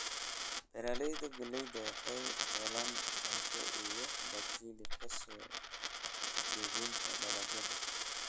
Beeraleyda galleyda waxay helaan cunto iyo dakhli ka soo iibinta dalagyada.